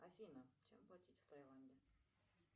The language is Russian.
афина чем платить в тайланде